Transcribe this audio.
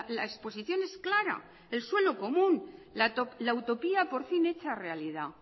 la exposición es clara el suelo común la utopía por fin hecha realidad